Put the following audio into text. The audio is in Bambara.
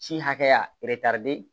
Ci hakɛya eretari